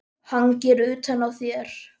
Hangir utan á þér!